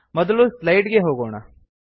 ಮೊದಲು ಸ್ಲೈಡ್ ಗೆ ಹೋಗೋಣ